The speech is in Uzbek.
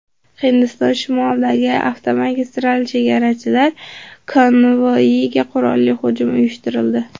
Hindiston shimolidagi avtomagistralda chegarachilar konvoyiga qurolli hujum uyushtirildi.